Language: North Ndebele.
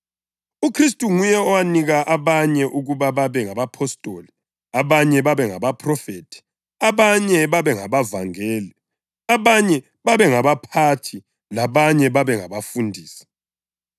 UKhristu nguye owanika abanye ukuba babe ngabapostoli, abanye babe ngabaphrofethi, abanye babe ngabavangeli, abanye babe ngabaphathi labanye babe ngabafundisi,